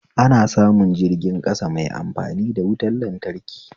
Ana samu jirgin ƙasa mai amfani da wutan lantraki